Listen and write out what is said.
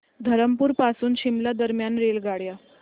धरमपुर पासून शिमला दरम्यान रेल्वेगाड्या